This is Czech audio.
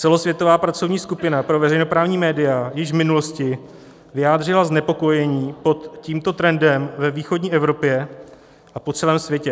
Celosvětová pracovní skupina pro veřejnoprávní média již v minulosti vyjádřila znepokojení pod tímto trendem ve východní Evropě a po celém světě.